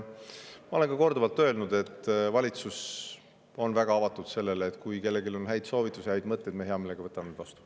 Ma olen korduvalt öelnud, et valitsus on väga avatud: kui kellelgi on häid soovitusi, häid mõtteid, siis me hea meelega võtame need vastu.